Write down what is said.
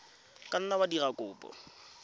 ka nna wa dira kopo